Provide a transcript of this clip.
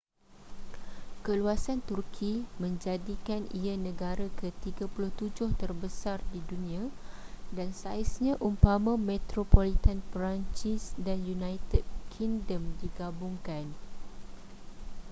keluasan turki menjadikan ia negara ke-37 terbesar di dunia dan saiznya umpama metropolitan perancis dan united kingdom digabungkan